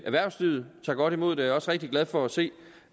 erhvervslivet tager godt imod det er også rigtig glad for at se